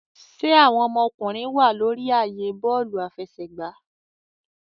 Ṣe awọn ọmọkunrin wa lórí ààyè bọọlu afẹsẹgba?